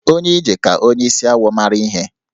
Onye ije ka onye isi awọ mara ihe